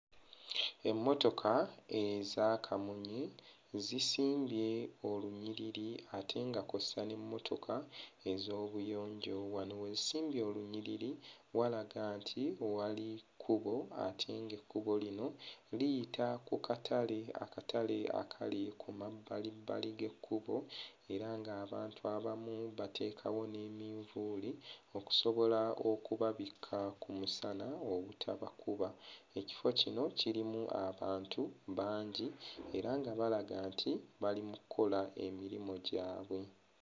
Emmotoka eza kamunye zisimbye olunyiriri ate nga kw'ossa n'emmotoka ez'obuyonjo. Wano we zisimbye olunyiriri walaga nti wali kkubo ate nga ekkubo lino liyita ku katale akatale akali ku mabbalibbali g'ekkubo era nga abantu abamu batekeekawo n'eminvuuli okusobola okubabikka ku musana obutabakuba. Ekifo kino lirimu abantu bangi era nga balaga nti bali mu kkola emirimu gyabwe.